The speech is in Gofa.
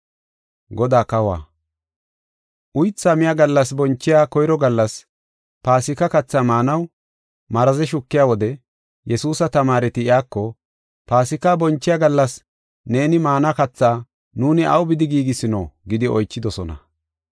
Uytha miya gallas bonchiya koyro gallas, Paasika katha maanaw maraze shukiya wode, Yesuusa tamaareti iyako, “Paasika bonchiya gallas neeni maana katha nuuni aw bidi giigisino?” gidi oychidosona.